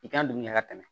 I ka dugu ɲɛ ka tɛmɛ